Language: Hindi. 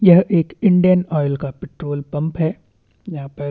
यह एक इंडियन ऑइल का पेट्रोल पंप है यहाँ पर--